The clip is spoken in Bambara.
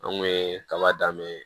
An kun ye kaba dan bɛ